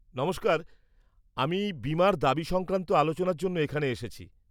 -নমস্কার, আমি বীমার দাবি সংক্রান্ত আলোচনার জন্য এখানে এসেছি।